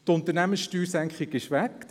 Die Unternehmenssteuersenkung ist weg.